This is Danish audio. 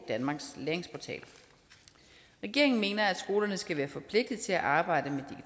danmarks læringsportal regeringen mener at skolerne skal være forpligtet til at arbejde med